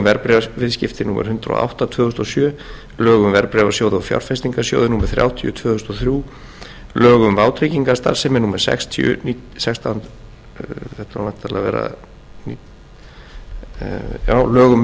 verðbréfaviðskipti númer hundrað og átta tvö þúsund og sjö lög um verðbréfasjóði og fjárfestingarsjóði númer þrjátíu tvö þúsund og þrjú lög um vátryggingarstarfsemi númer sextíu sextán hundruð sextíu og fjögur lög um